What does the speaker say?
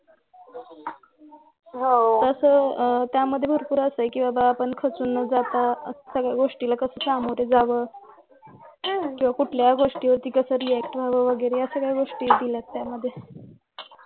तसं त्यामध्ये भरपूर असं आहे कि आपण खचून न जाता सगळ्या गोष्टीला कसं समोर जावं किंवा कुठल्या गोष्टीवर्ती कसं react व्हावं ह्या वगैरे असा काही गोष्टी दिल्यात त्यामध्ये